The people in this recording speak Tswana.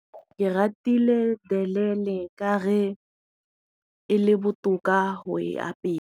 Ke ratile telele ka re e le botoka go e apeya.